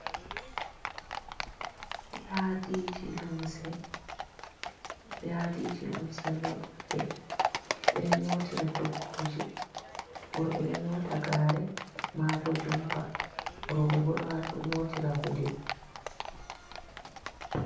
Yadiji limse, yadiji limse ɗo ɗuɗɗe ɓe ɗo nyootira toggooje. Worɓe ɗo nyoota gaare maabo jompa, rowɓe bo ɗo nyootira gude.